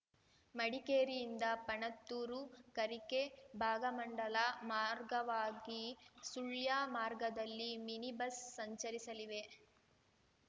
ಮಡಿಕೇರಿಯಿಂದ ಪಣತ್ತೂರು ಕರಿಕೆ ಭಾಗಮಂಡಲ ಮಾರ್ಗವಾಗಿ ಸುಳ್ಯ ಮಾರ್ಗದಲ್ಲಿ mini bus ಸಂಚರಿಸಲಿವೆ